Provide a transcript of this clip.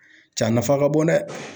Ja a nafa ka bon dɛ.